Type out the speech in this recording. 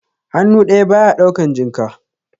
Hannu ɗaya ba ya ɗaukan jinka.